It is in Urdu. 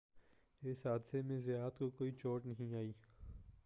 اس حادثہ میں زیات کو کوئی چوٹ نہیں آئی